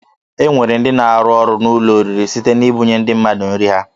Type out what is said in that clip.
E nwere ndị na-arụ ọrụ n'ụlọ oriri site n'ibunye ndị mmadụ nri ha